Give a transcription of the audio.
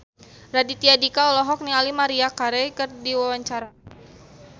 Raditya Dika olohok ningali Maria Carey keur diwawancara